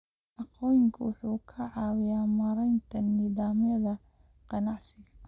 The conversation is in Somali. Aqoonsigu wuxuu ka caawiyaa maaraynta nidaamyada ganacsiga.